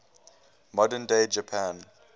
modern day japan